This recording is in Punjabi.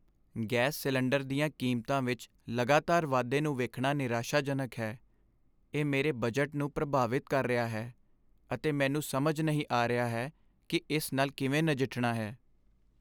ਗੈਸ ਸਿਲੰਡਰ ਦੀਆਂ ਕੀਮਤਾਂ ਵਿੱਚ ਲਗਾਤਾਰ ਵਾਧੇ ਨੂੰ ਵੇਖਣਾ ਨਿਰਾਸ਼ਾਜਨਕ ਹੈ। ਇਹ ਮੇਰੇ ਬਜਟ ਨੂੰ ਪ੍ਰਭਾਵਿਤ ਕਰ ਰਿਹਾ ਹੈ, ਅਤੇ ਮੈਨੂੰ ਸਮਝ ਨਹੀਂ ਆ ਰਿਹਾ ਹੈ ਕਿ ਇਸ ਨਾਲ ਕਿਵੇਂ ਨਜਿੱਠਣਾ ਹੈ।